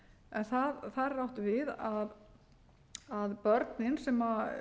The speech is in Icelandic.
en þar er átt við að börnin sem